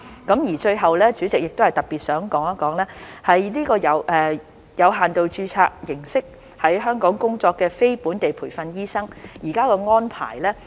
代理主席，最後亦想談談以有限度註冊形式在香港工作的非本地培訓醫生現時的安排。